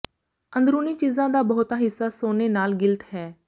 ਅੰਦਰੂਨੀ ਚੀਜ਼ਾਂ ਦਾ ਬਹੁਤਾ ਹਿੱਸਾ ਸੋਨੇ ਨਾਲ ਗਿਲਟ ਹੈ